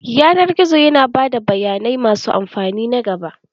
Yanar gizo yana ba da bayanai masu amfani na gaba.